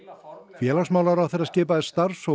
félagsmálaráðherra skipaði starfshóp